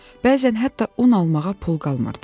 Bəzən hətta un almağa pul qalmırdı.